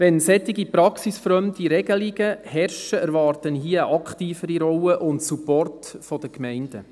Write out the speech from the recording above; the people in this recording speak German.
Wenn solche praxisfremden Regelungen vorherrschen, erwarte ich hier eine aktivere Rolle und Support für die Gemeinden.